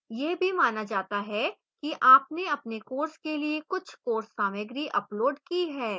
यह भी माना जाता है कि आपने अपने course के लिए कुछ course सामग्री uploaded की है